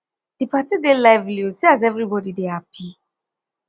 di party dey lively o see as everybodi dey happy